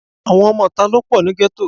Àwọn ọmọ ìta ló pọ̀ ní gẹ́tò